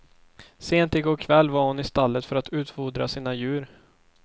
Sent i går kväll var hon i stallet för att utfodra sina djur.